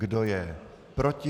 Kdo je proti?